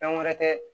Fɛn wɛrɛ tɛ